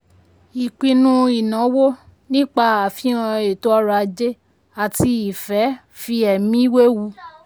ìpinnu ìnáwó nípa àfihàn eto ọrọ̀ ajé àti ìfẹ́ fi ẹ̀mí wewu.